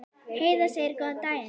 Heiða segir góðan daginn!